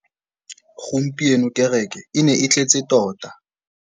Gompieno kêrêkê e ne e tletse tota.